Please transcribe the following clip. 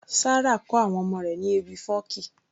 Sarah kọ àwọn ọmọ rẹ̀ ní ewì fọ́ọ̀kí